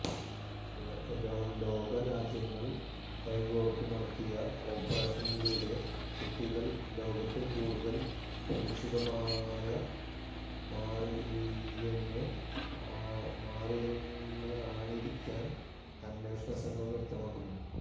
ലോക രാജ്യങ്ങള് കൈകോര്ത്തു നടത്തിയ ഓപ്പറേഷനിലൂടെ കുട്ടികള് ലോകത്ത് കൂടുതല് സുരക്ഷിതമായ മാറിയെന്ന് അണേരിക്കന് അന്വേഷണ സംഘം വ്യക്തമാക്കുന്നു